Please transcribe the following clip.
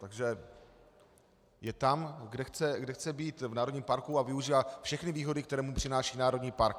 Takže je tam, kde chce být, v národním parku, a využívá všechny výhody, které mu přináší národní park.